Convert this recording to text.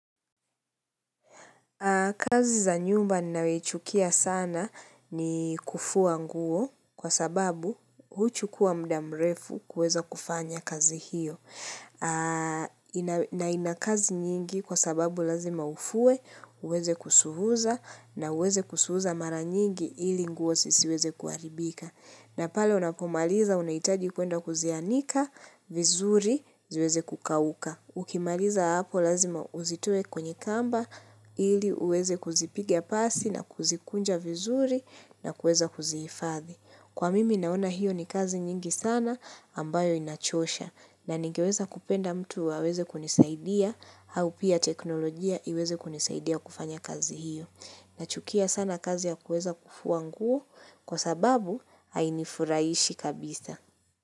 Kazi za nyumba ninayoichukia sana ni kufua nguo kwa sababu huchukua muda mrefu kuweza kufanya kazi hiyo. Na ina kazi nyingi kwa sababu lazima ufue, uweze kusuuza na uweze kusuuza mara nyingi ili nguo zisiweze kuharibika. Na pale unapomaliza unahitaji kuenda kuzianika, vizuri, ziweze kukauka. Ukimaliza hapo lazima uzitoe kwenye kamba ili uweze kuzipigia pasi na kuzikunja vizuri na kuweza kuzihifadhi. Kwa mimi naona hiyo ni kazi nyingi sana ambayo inachosha na ningeweza kupenda mtu aweze kunisaidia au pia teknolojia iweze kunisaidia kufanya kazi hiyo. Nachukia sana kazi ya kuweza kufua nguo kwa sababu hainifurahishi kabisa.